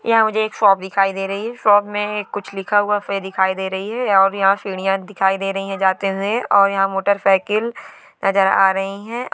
यहाँ मुझे एक शॉप दिखाई दे रही है| शॉप में कुछ लिखा हुआ दिखाई दे रही है और यहाँ सीढ़ियां दिखाई दे रही है जाते हुए और यहाँ मोटरसाइकिल नज़र आ रही है।